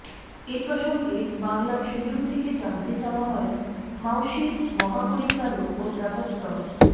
এ প্রসঙ্গে বাংলা ট্রিবিউন থেকে জানতে চাওয়া হয় মাউশির মহাপরিচালক অধ্যাপক ড